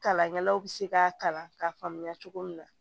Kalankɛlaw bɛ se k'a kalan k'a faamuya cogo min na